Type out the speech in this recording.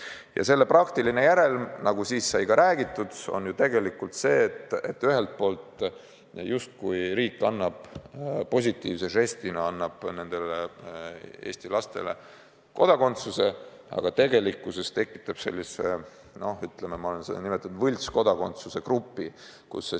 Ja selle praktiline järelm, nagu siis sai ka räägitud, on ju tegelikult see, et ühelt poolt riik justkui annab positiivse žestina nendele Eesti lastele kodakondsuse, aga tegelikkuses tekitab sellise, ütleme, nagu ma olen seda nimetanud, võltskodakondsuse grupi.